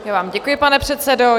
Já vám děkuji, pane předsedo.